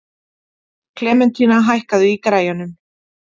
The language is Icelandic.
Klementína, hækkaðu í græjunum.